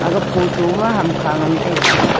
aga photo ma hamkha ngan taiga.